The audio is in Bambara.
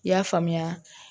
I y'a faamuya